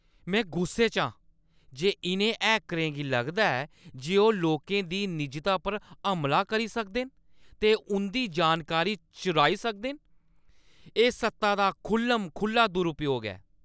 मैं गुस्से च आं जे इʼनें हैकरें गी लगदा ऐ जे ओह् लोकें दी निजता पर हमला करी सकदे न ते उंʼदी जानकारी चुराई सकदे न। एह् सत्ता दा खु'ल्ल-म-खु'ल्ला दुरूपयोग ऐ।